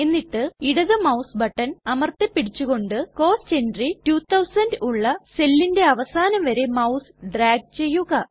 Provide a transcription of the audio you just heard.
എന്നിട്ട് ഇടത് mouse button അമർത്തി പിടിച്ചുകൊണ്ട് കോസ്റ്റ് എൻട്രി 2000 ഉള്ള സെല്ലിൻറെ അവസാനം വരെ മൌസ് ഡ്രാഗ് ചെയ്യുക